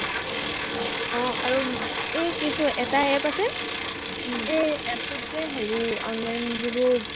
আহ আৰু উম এৰ কিছু এটা app আছে এৰ app টোত যে হেৰি online যিবোৰ